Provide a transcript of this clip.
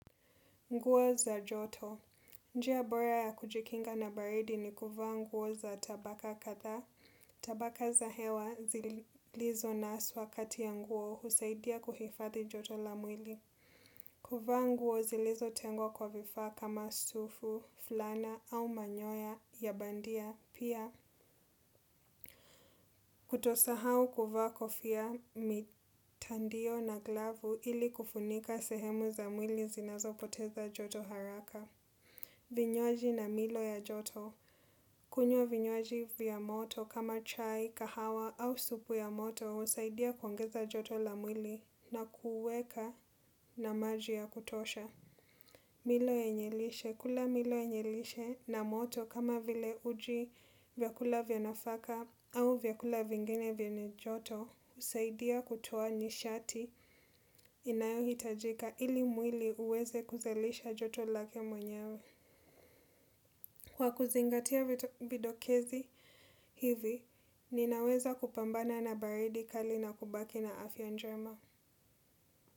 Nguo za joto. Njia bora ya kujikinga na baridi ni kuvaa nguo za tabaka kadhaa. Tabaka za hewa zilizo naswa kati ya nguo husaidia kuhifadhi joto la mwili. Kuvaa nguo zilizo tengwa kwa vifaa kama sufu, fulana au manyoya ya bandia. Pia kutosahau kuvaa kofia mitandio na glavu ili kufunika sehemu za mwili zinazo poteza joto haraka. Vinywaji na milo ya joto. Kunywa vinywaji vya moto kama chai, kahawa au supu ya moto husaidia kuongeza joto la mwili na kuweka na maji ya kutosha. Milo yenye lishe, kula milo ya yenye lishe na moto kama vile uji vyakula vya nafaka au vyakula vingine vyenye joto husaidia kutoa nishati inayo hitajika ili mwili uweze kuzalisha joto lake mwenyewe. Kwa kuzingatia vidokezi hivi, ninaweza kupambana na baridi kali na kubaki na afya njema.